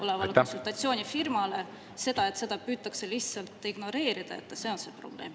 … olevale konsultatsioonifirmale, see, et seda püütakse lihtsalt ignoreerida – see on probleem.